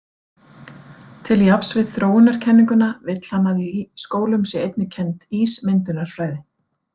Til jafns við þróunarkenninguna vill hann að í skólum sé einnig kennd ísmyndunarfræði.